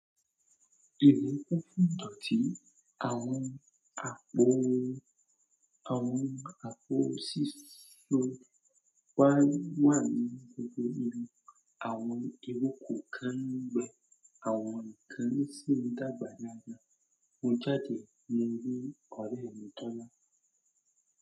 Ènìyàn kò fún idọ̀tí àwọn àpò, àwọn àpò sísun wà nínú gbogbo ìlú. Àwọn ìrokò kan ń gbẹ, àwọn kan sì ń dàgbà dáadáa. Mo jáde nínú ọ̀rẹ́ mi tọ́ná.